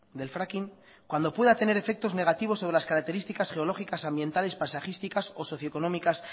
del fracking cuando pueda tener efectos negativos sobre las características geológicas ambientales paisajísticas o socioeconómicas